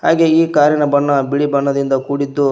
ಹಾಗೆ ಈ ಕಾರಿನ ಬಣ್ಣ ಬಿಳಿ ಬಣ್ಣದಿಂದ ಕೂಡಿದ್ದು--